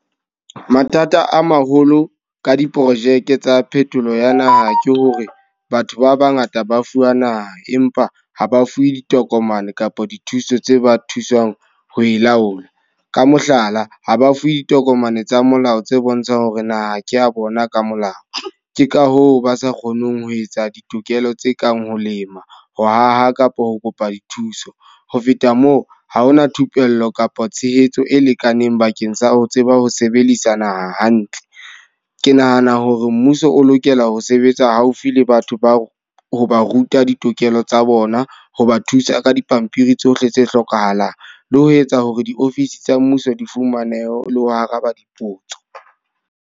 Mathata a maholo ka diprojeke tsa phetolo ya naha. Ke hore batho ba bangata ba fuwa naha empa ha ba fuwe ditokomane kapa dithuso tse ba thusang ho e laola. Ka mohlala, ha ba fuwe ditokomane tsa molao tse bontshang hore naha ke a bona ka molao. Ke ka hoo ba sa kgoneng ho etsa ditokelo tse kang ho lema, ho haha kapa ho kopa dithuso. Ho feta moo, ha ho na thupello kapa tshehetso e lekaneng bakeng sa ho tseba ho sebedisa naha hantle. Ke nahana hore mmuso o lokela ho sebetsa haufi le batho ba o ho ba ruta ditokelo tsa bona. Ho ba thusa ka dipampiri tsohle tse hlokahalang. Le ho etsa hore diofising tsa mmuso di fumanehe le ho araba dipotso.